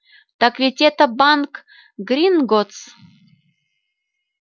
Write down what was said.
так ведь это банк гринготгс